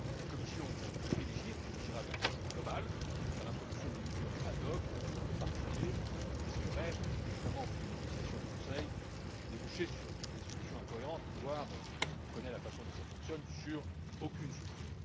La Commission privilégie et privilégiera une approche globale car l'introduction de mesures ad hoc éparpillées risquerait, notamment au vu des négociations au Conseil, de déboucher sur des solutions incohérentes, voire de n'aboutir on connaît la façon dont cela fonctionne à aucune solution.